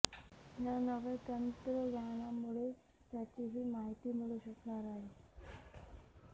या नव्या तंत्रज्ञानामुळे त्याचीही माहिती मिळू शकणार आहे